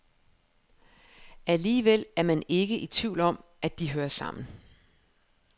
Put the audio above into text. Alligevel er man ikke i tvivl om, at de hører sammen.